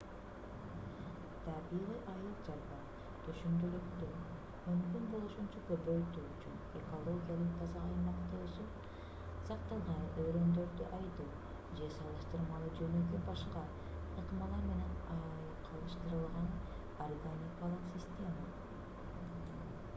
табигый айыл чарба түшүмдүүлүктү мүмкүн болушунча көбөйтүү үчүн экологиялык таза аймакта өсүп сакталган үрөндөрдү айдоо же салыштырмалуу жөнөкөй башка ыкмалар менен айкалыштырылган органикалык система